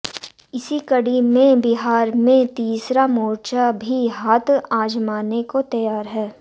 इसी कड़ी में बिहार में तीसरा मोर्चा भी हाथ आजमाने को तैयार है